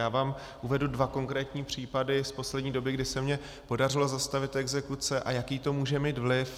Já vám uvedu dva konkrétní případy z poslední doby, kdy se mi podařilo zastavit exekuce a jaký to může mít vliv.